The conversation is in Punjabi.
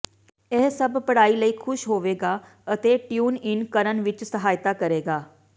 ਇਹ ਸਭ ਪੜ੍ਹਾਈ ਲਈ ਖੁਸ਼ ਹੋਵਗਾ ਅਤੇ ਟਿਊਨ ਇਨ ਕਰਨ ਵਿਚ ਸਹਾਇਤਾ ਕਰੇਗਾ